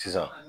Sisan